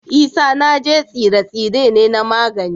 Isanaje tsire-tsire ne na magani